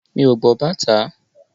Mi ò gbọ́ bàtá.